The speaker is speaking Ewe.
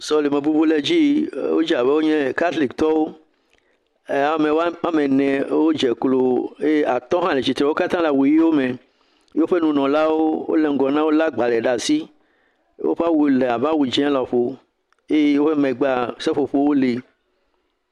Sɔleme bubu le dzi yi wodze abe katolikotɔwo. Ame ene wodze eye klo eye atɔ̃ hã le tsitre wo katã wole awu ʋiwo me woƒe nunɔlawo le ŋgɔ eye wolé agbalẽ ɖe asi, woƒe awu le abe awu dze lɔƒo eye woƒe megbe la seƒoƒo li.